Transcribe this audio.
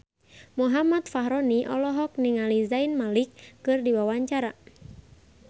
Muhammad Fachroni olohok ningali Zayn Malik keur diwawancara